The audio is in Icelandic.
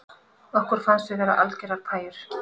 Okkur fannst við vera algerar pæjur